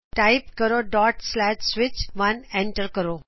type ਕਰੋ switch1 enter ਦਬਾਉ